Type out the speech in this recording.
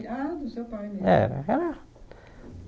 Ah, do seu pai mesmo. Era era